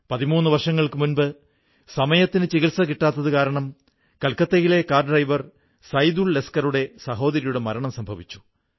13 വർഷങ്ങൾക്കു മുമ്പ് സമയത്തിന് ചികിത്സ കിട്ടാഞ്ഞതു കാരണം കൊൽക്കത്തയിലെ കാർ ഡ്രൈവർ സൈദുൾ ലസ്കറുടെ സഹോദരിയുടെ മരണം സംഭവിച്ചു